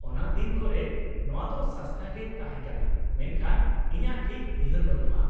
-ᱚᱱᱟ ᱫᱤᱱ ᱠᱚᱨᱮ ᱱᱚᱣᱟ ᱫᱚ ᱥᱚᱥᱛᱟ ᱜᱮ ᱛᱟᱦᱮᱸ ᱠᱟᱱᱟ, ᱢᱮᱱᱠᱷᱟᱱ ᱤᱧᱟᱹᱜ ᱴᱷᱤᱠ ᱩᱭᱦᱟᱹᱨ ᱵᱟᱹᱱᱩᱜᱼᱟ ᱾